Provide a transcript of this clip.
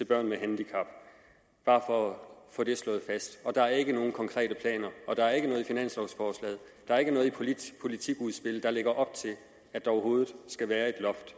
børn med handicap bare for at få det slået fast der er ikke nogen konkrete planer der er ikke noget i finanslovforslaget og der er ikke noget i politikudspillet der lægger op til at der overhovedet skal være et loft